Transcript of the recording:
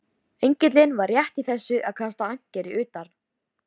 Engillinn var rétt í þessu að kasta ankeri utar.